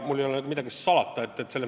Mul ei ole midagi salata.